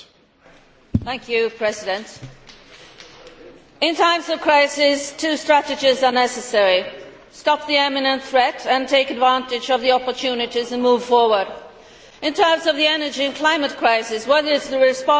Mr President, in times of crisis two strategies are necessary stop the imminent threat, and take advantage of the opportunities and move forward. In terms of the energy and climate crisis, what is the response from the Council?